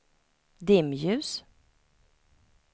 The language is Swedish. dimljus